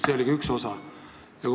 See oli ka üks osa.